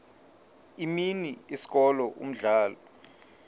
imini isikolo umdlalo